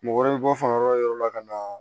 Mɔgɔ wɛrɛ bɛ bɔ fan wɛrɛw la ka na